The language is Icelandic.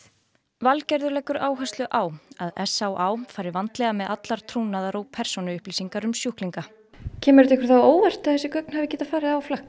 Valgerður leggur áherslu á að s á á fari vandlega með allar trúnaðar og persónuupplýsingar um sjúklinga kemur það ykkur á óvart að þessi gögn hafi farið á flakk